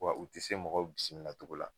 Wa u ti se mɔgɔw bisimila cogo la.